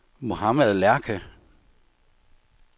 Mohammad Lerche